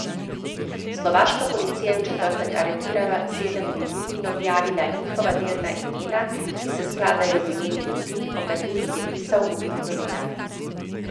Slovaška policija je v četrtek aretirala sedem ljudi in objavila njihova delna imena, ki se skladajo z imeni ljudi, o katerih je pisal ubit novinar.